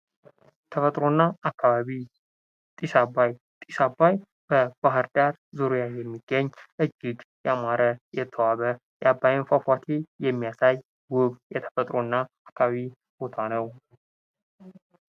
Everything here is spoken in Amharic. ተፈጥሮና አካባቢ ጢስ አባይ ጢስ የአባይ በባህር ዳር ዙሪያ የሚገኝ እጅግ የአማረ የተዋበ የአባይን ፏፏቴ የሚያሳይ ዉብ የተፈጥሮና የአካባቢ ቦታ ነው::